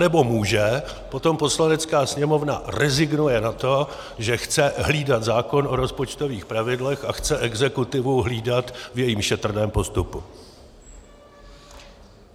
Anebo může, potom Poslanecká sněmovna rezignuje na to, že chce hlídat zákon o rozpočtových pravidlech a chce exekutivu hlídat v jejím šetrném postupu.